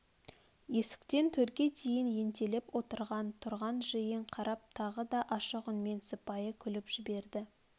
есіктен төрге дейін ентелеп отырған тұрған жиынға қарап тағы да ашық үнмен сыпайы күліп жіберді